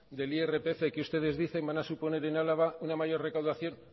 del irpf que ustedes dicen van a suponer en álava una mayor recaudación